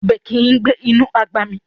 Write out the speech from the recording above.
Ọbẹ̀ kìí gbé inú àgbà mì